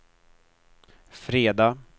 fredag